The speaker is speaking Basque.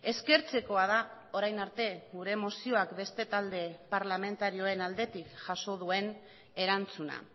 eskertzekoa da orain arte gure mozioak beste talde parlamentarioen aldetik jaso duen erantzuna